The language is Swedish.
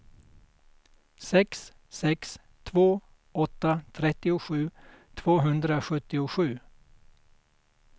sex sex två åtta trettiosju tvåhundrasjuttiosju